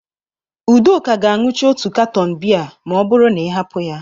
Udoka ga-aṅucha otu katọn bịa ma ọ bụrụ na ị hapụ ya.